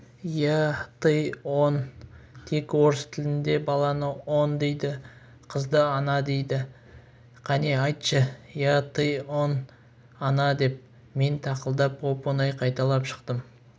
я ты он тек орыс тілінде баланы он дейді де қызды она дейді кәне айтшы я ты он она деп мен тақылдап оп-оңай қайталап шықтым